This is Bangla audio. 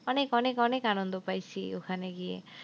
অনেক অনেক অনেক আনন্দ পাইসি ওখানে গিয়ে।